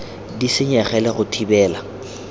di senyege le go thibela